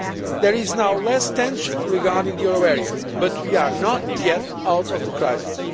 there is now less tension regarding the euro area, but we are not yet out of the crisis.